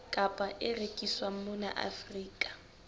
kapa e rekiswang mona afrika